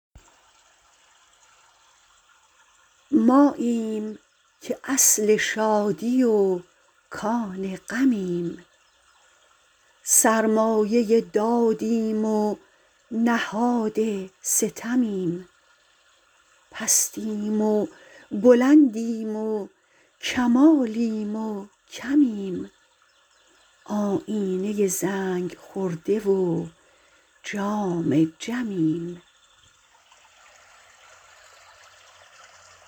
ماییم که اصل شادی و کان غمیم سرمایه دادیم و نهاد ستمیم پستیم و بلندیم و کمالیم و کمیم آیینه زنگ خورده و جام جمیم